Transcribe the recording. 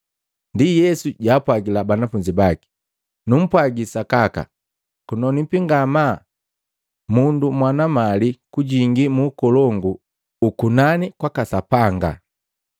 Ndi Yesu jwaapwagila banafunzi baki, “Numpwaagi sakaka kunonwipi ngamaa mundu mwana mali kujingi mu ukolongu ukukunani kwaka Sapanga.